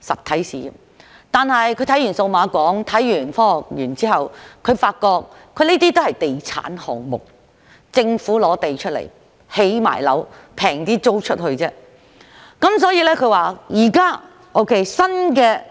可是，當他看到數碼港和香港科學園後，他發現這些也是地產項目，只是由政府提供土地和興建，再以較便宜的價錢出租。